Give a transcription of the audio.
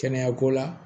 Kɛnɛya ko la